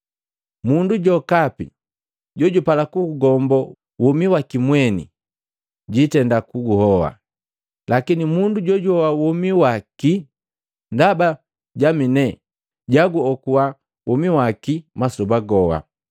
Mundu jokapi jojupala kugugombo womi waki mweni, jitenda kuguhoa, lakini mundu jojuhoa womi waki ndaba jami ne jaguokuwa womi waki wamasoba goha.